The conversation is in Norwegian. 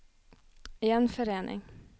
gjenforening